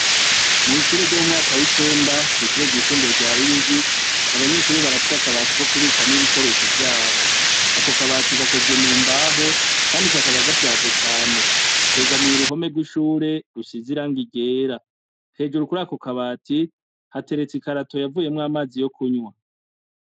Mwishure ryo mwumwaka wicenda ,ishure ry,isumbuye rya Ruyigi abanyeshure barafise akabati ko kubikamwo ibikoresho vyabo, Ako kabati gakozwemwo mumbaho Kandi kakaba gashaje cane kegamiye uruhome rwishure rusize irangi ryera hejuru kuri Ako kabati hateretse ikarato yavuyemwo amazi yo kunywa.